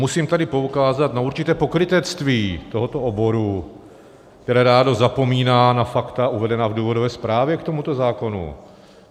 Musím tady poukázat na určité pokrytectví tohoto oboru, které rádo zapomíná na fakta uvedená v důvodové zprávě k tomuto zákonu.